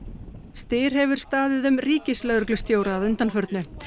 styr hefur staðið um ríkislögreglustjóra að undanförnu